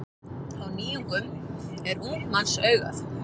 Á nýjungum er ungs manns augað.